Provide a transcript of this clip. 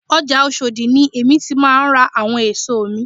Ọjà Oshodi ni èmi ti máà ń ra àwọn èso mi